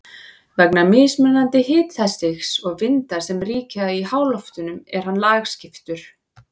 Vegna mismunandi hitastigs og vinda sem ríkja í háloftunum er hann lagskiptur.